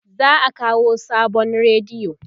za'a kawo sabon rediyo